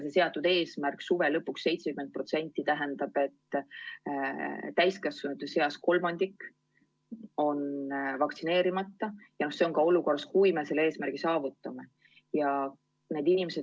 Seatud eesmärk suve lõpuks 70% tähendab, et täiskasvanute seas kolmandik on vaktsineerimata, ja see on nii ka olukorras, kui me selle eesmärgi saavutame.